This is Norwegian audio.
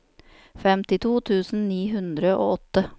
femtito tusen ni hundre og åtte